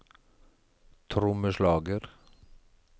trommeslager